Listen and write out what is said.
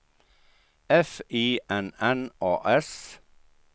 F I N N A S